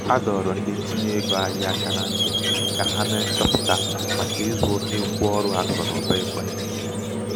a dọrọ ndị ntinye ego ahịa aka na ntị ka ha mee nchọpụta màkà ịzụ oke ngwa ọrụ akụnaụba ekwentị.